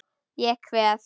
Ég kveð.